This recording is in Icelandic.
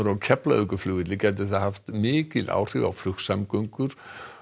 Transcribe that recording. á Keflavíkurflugvelli gæti það haft mikil áhrif á flugsamgöngur